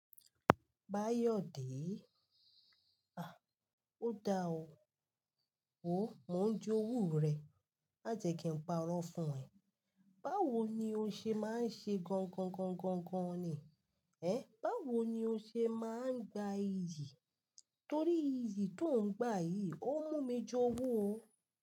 Báyọ̀dé. Ah! Ó da ọ́. Wo, mò ń jo owú rẹ. Majẹ́ ki ń parọ́ fún ẹ. Báwo ni o ṣe máa ń ṣe gọ̀ǹgọ̀ǹgọ̀ǹgọ̀ǹgọ̀ǹgọ̀n ni? Ẹ̀, báwo ni o ṣe máa ń gba iyì? Torí iyì tó ń gba yìí, ó mú mi ju owú o.